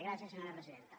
gràcies senyora presidenta